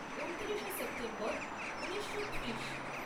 ঊনত্রিশে সেপ্টেম্বর ঊনিশো ত্রিশ